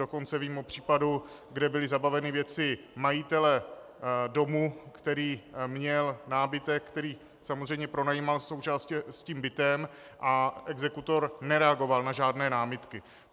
Dokonce vím o případu, kde byly zabaveny věci majitele domu, který měl nábytek, který samozřejmě pronajímal současně s tím bytem, a exekutor nereagoval na žádné námitky.